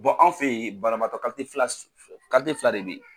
anw fɛ ye banabaatɔ fila de bɛ ye.